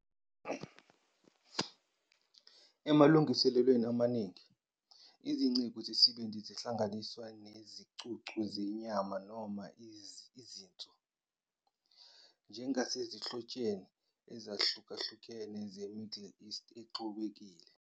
Emalungiselelweni amaningi, izingcezu zesibindi zihlanganiswa nezicucu zenyama noma izinso, njengasezinhlotsheni ezahlukahlukene ze-Middle East exubekile.